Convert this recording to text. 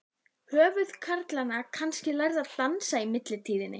Höfðu karlarnir kannski lært að dansa í millitíðinni?